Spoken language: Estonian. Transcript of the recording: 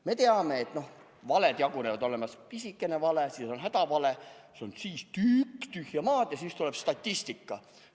Me teame, et valed jagunevad nii: on olemas pisikene vale, siis on hädavale ja siis tuleb suur tükk tühja maad ja siis tuleb statistika.